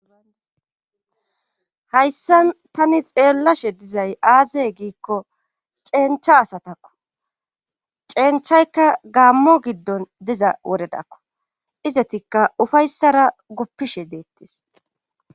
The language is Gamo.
hayssan tani xeellashe dizay aazey giikko ceencha asatakko ceenchaykka gaammo giddon diza wodedakko izetikka ufayssara goppishe deettis